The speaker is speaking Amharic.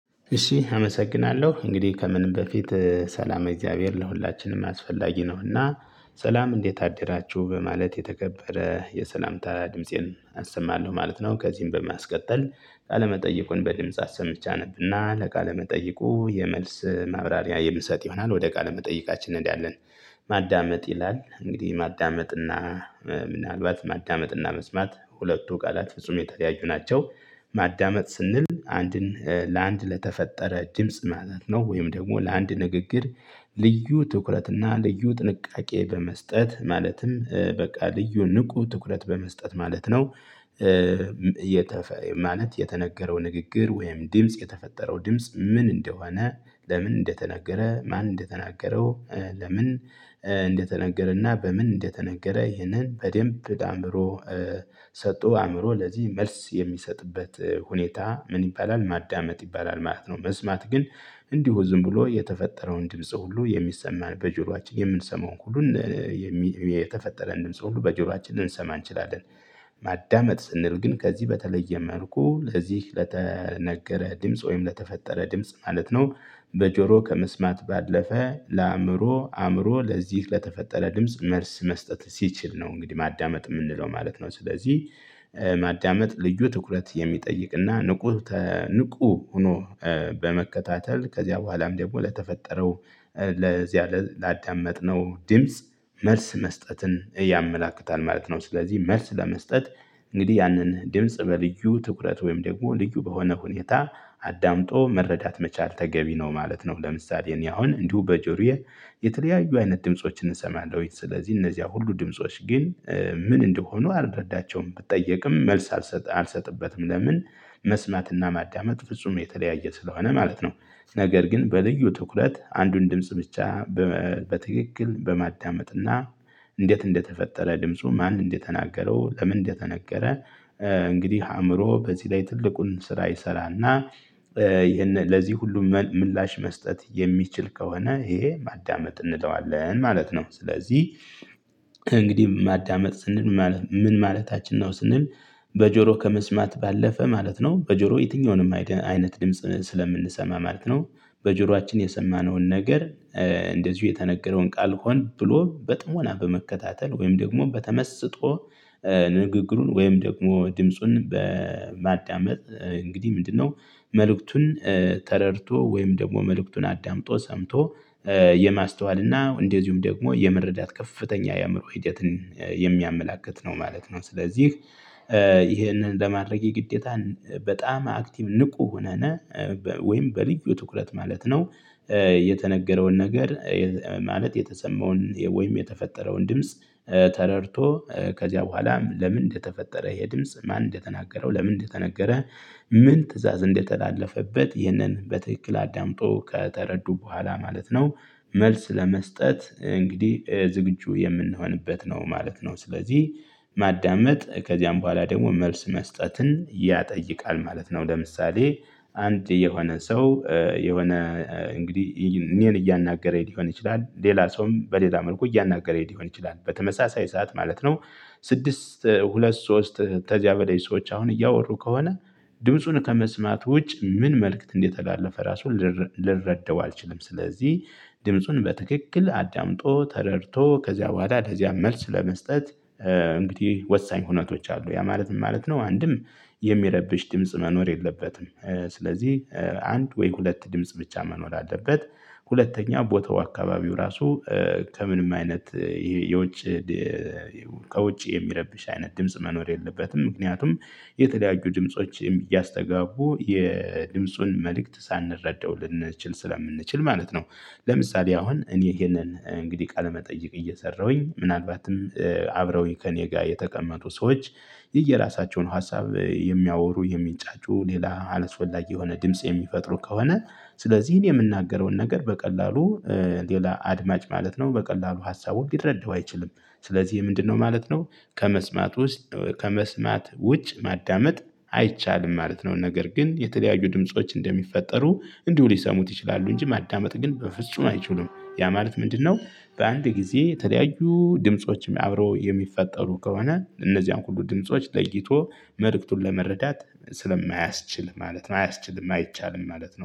እሺ አመሰግናለሁ እንግዲህ ከምንም በፊት ሰላመ እግዚአብሔር ለሁላችንም አስፈላጊ ነውና። ሰላም እንዴት አደራችሁ በማለት የተከበረ የሰላምታ ድምፄን አሰማለሁ ማለት ነው። ከዚህም በማስቀጠል ቃለመጠይቁን በድምጽ አሰምቼ አነብና ለቃለመጠይቁ የመልስ ማብራሪያ የምንሰጥ ይሆናል። ወደ ቃለመጠይቃችን መጠየቃችን እንሄዳለን። ማዳመጥ ይላል እንግዲህ ማዳመጥ እና ምናልባት ማዳመጥ እና መስማት ሁለቱ ቃላት ፍጹም የተለያዩ ናቸው። ማዳመጥ ስንል አንድን ለአንድ ለተፈጠረ ድምጽ መሆን ነው ወይም ደግሞ ለአንድ ንግግር ልዩ ትኩረትና ልዩ ጥንቃቄ በመስጠት ማለትም በቃ ልዩ ንቁ ትኩረት በመስጠት ማለት ነው። የተፈየው ማለት የተነገረው ንግግር ወይም ድምጽ የተፈጠረው ድምጽ ምን እንደሆነ? ለምን እንደተነገረ ማን እንደተናገረው? ለምን እንደተነገረና በምን እንደተነገረ ይህንን በደንብ ተጣምሮ። ሰጥቶ አእምሮ ለዚህ መልስ የሚሰጥበት ሁኔታ ምን ይባላል ማዳመጥ ይባላል ማለት ነው። መስማት ግን። እንዲሁ ዝም ብሎ የተፈጠረውን ድምጽ ሁሉ የሚሰማን በጆሮአችን የምንሰማውን ሁሉ የተፈጠረን ድምጽ ሁሉ በጆሯችን ልንሰማ እንችላለን። ማዳመጥ ስንል ግን ከዚህ በተለየ መልኩ ለዚህ ለተነገረ ድምጽ ወይም ለተፈጠረ ድምጽ ማለት ነው። በጆሮ ከመስማት ባለፈ ለአእምሮ አእምሮ ለዚህ ለተፈጠረ ድምጽ መልስ መስጠት ሲችል ነው እንግዲህ ማዳመጥ የምንለው ማለት ነው። ስለዚህ ማዳመጥ ልዩ ትኩረት የሚጠይቅና ንቁ ንቁ ሆኖ በመከታተል ከዚያ በኋላም ደግሞ ለተፈጠረው ለዚያ ላዳመጥነው ዲምጽ መልስ መስጠትን ያመላክታል ማለት ነው። ስለዚህ መልስ ለመስጠት እንግዲህ ያንን ድምጽ በልዩ ትኩረት ወይም ደግሞ ልዩ በሆነ ሁኔታ አዳምጦ መረዳት መቻል ተገቢ ነው ማለት ነው። ለምሳሌ እኔ አሁን እንዲሁ በጆሮዬ የተለያዩ አይነት ድምፆችን እንሰማለን ስለዚህ እነዚያ ሁሉ ድምጾች ግን። ምን እንደሆኑ አልረዳቸውም ብጠየቅም መልስ አልሰጥበትም ለምን መስማትና ማዳመጥ ፍጹም የተለያየ ስለሆነ ማለት ነው። ነገር ግን በልዩ ትኩረት አንዱን ድምጽ ብቻ በትክክል በማዳመጥና እንዴት እንደተፈጠረ ድምፁ ማን እንደተናገረው ለምን እንደተነገረ? እንግዲህ አእምሮ በዚህ ላይ ትልቁን ስራ ይሰራልና። ይሄንን ለዚህ ሁሉ ምላሽ መስጠት የሚችል ከሆነ ይሄ ማዳመጥ እንለዋለን ማለት ነው። ስለዚህ እንግዲህ ማዳመጥ ስንል ምን ማለታችን ነው ስንል? በጆሮ ከመስማት ባለፈ ማለት ነው በጆሮ የትኛውንም አይነት ድምጽ ስለምንሰማ ማለት ነው። በጆሮአችን የሰማነውን ነገር እንደዚሁ የተነገረውን ቃል ሆን ብሎ በጥሞና በመከታተል ወይም ደግሞ በተመስጦ ንግግሩን ወይም ደግሞ ድምጹን በማዳመጥ እንግዲህ ምንድነው? መልእክቱን ተረድቶ ወይም ደግሞ መልእክቱን አዳምጦ ሰምቶ የማስተዋልና እና እንደዚሁም ደግሞ የመረዳት ከፍተኛ የአእምሮ ሂደትን የሚያመላክት ነው ማለት ነው። ስለዚህ ይህንን ለማድረግ የግዴታን በጣም አክቲቭ ንቁ ሆነነ ወይም በልዩ ትኩረት ማለት ነው። የተነገረውን ነገር ማለት የተሰማውን ወይም የተፈጠረውን ድምጽ ተረድቶ ከዚያ በኋላም ለምን እንደተፈጠረ ይሄ ድምጽ ማን እንደተናገረው ለምን እንደተነገረ? ምን ትእዛዝ እንደተላለፈበት ይህንን በትክክል አዳምጦ ከተረዱ በኋላ ማለት ነው። መልስ ለመስጠት እንግዲህ ዝግጁ የምንሆንበት ነው ማለት ነው። ስለዚህ ማዳመጥ ከዚያም በኋላ ደግሞ መልስ መስጠትን ያጠይቃል ማለት ነው። ለምሳሌ አንድ የሆነ ሰው የሆነ እንግዲህ እኔን እያናገረኝ ሊሆን ይችላል ሌላ ሰውም በሌላ መልኩ እያናገረኝ ሊሆን ይችላል በተመሳሳይ ሰዓት ማለት ነው። ስድስት ሁለት ሶስት ተዚያ በለይ ሰዎች አሁን እያወሩ ከሆነ። ድምፁን ከመስማት ውጭ ምን መልእክት እንደተላለፈ ራሱን ልረዳው አልችልም ስለዚህ። ድምፁን በትክክል አዳምጦ ተረድቶ ከዚያ በኋላ ለዚያ መልስ ለመስጠት። እንግዲህ ወሳኝ ሁነቶች አሉ ያ ማለት ምን ማለት ነው? አንድም የሚረብሽ ድምጽ መኖር የለበትም። ስለዚህ አንድ ወይ ሁለት ድምጽ ብቻ መኖር አለበት። ሁለተኛ ቦታው አካባቢው ራሱ ከምንም አይነት የውጭ ከውጭ የሚረብሽ አይነት ድምጽ መኖር የለበትም ምክንያቱም የተለያዩ ድምጾች እያስተጋቡ የድምፁን መልእክት ሳንረዳው ልንችል ስለምንችል ማለት ነው። ለምሳሌ አሁን እኔ ይሄንን እንግዲህ ቃለመጠየቅ እየሰራሁኝ ምናልባትም አብረውኝ ከእኔ ጋር የተቀመጡ ሰዎች የየራሳቸውን ሀሳብ የሚያወሩ የሚንጫጩ ሌላ አላስፈላጊ የሆነ ድምጽ የሚፈጥሩ ከሆነ። ስለዚህ የምንናገረውን ነገር በቀላሉ ሌላ አድማጭ ማለት ነው በቀላሉ ሀሳቡን ሊረዳው አይችልም። ስለዚህ ምንድነው ማለት ነው። ከመስማት ውስጥ ከመስማት ውጭ ማዳመጥ አይቻልም ማለት ነው። ነገር ግን የተለያዩ ድምጾች እንደሚፈጠሩ እንዲሁ ሊሰሙት ይችላሉ እንጂ ማዳመጥ ግን በፍጹም አይችሉም። ያ ማለት ምንድነው? በአንድ ጊዜ የተለያዩ ድምፆችም አብረው የሚፈጠሩ ከሆነ እነዚያን ሁሉ ድምጾች ለይቶ መልእክቱን ለመረዳት ስለማያስችል ማለት ነው። አያስችልም አይቻልም ማለት ነው